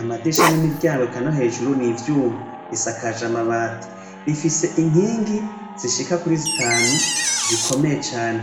amadirisha nimiryango eka nohejuru nivyuma risakaje amabati rifise inkingi zishika kuri zitanu zikomeye cane